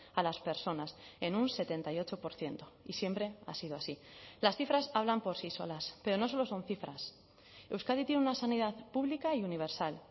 a las personas en un setenta y ocho por ciento y siempre ha sido así las cifras hablan por sí solas pero no solo son cifras euskadi tiene una sanidad pública y universal